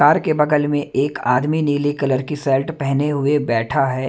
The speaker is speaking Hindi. कार के बगल में एक आदमी नीले कलर की शर्ट पहने हुए बैठा है।